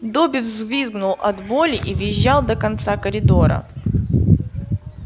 добби взвизгнул от боли и визжал до конца коридора